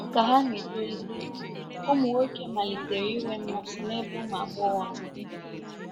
Ka ha na-etolite, ụmụ nwoke malitere inwe mmasị n'ebe ụmụ agbọghọ nọ.